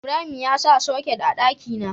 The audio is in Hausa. Ibrahim ya sa soket a daki na